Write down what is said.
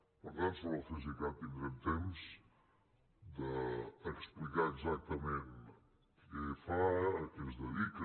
per tant sobre el cesicat tindrem temps d’explicar exactament què fa a què es dedica